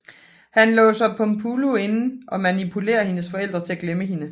Han låser Pumplulu inde og manipulerer hendes forældre til at glemme hende